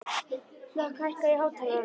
Hlökk, hækkaðu í hátalaranum.